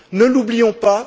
Ne l'oublions pas.